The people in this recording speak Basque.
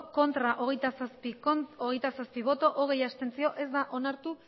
bai hogeita zazpi ez hogei abstentzio ez da onartu